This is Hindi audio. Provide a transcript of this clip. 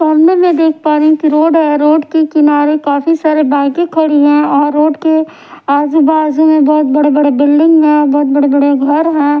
सामने में देखा पा रही हूं की रोड है। रोड के किनारे काफी सारे बाईकें खड़ी हैं और रोड के आजू-बाजू में बहुत बड़े-बड़े बिल्डिंग हैं और बहुत बड़े-बड़े घर हैं।